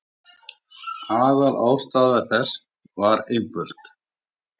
Aðalástæða þess var einföld.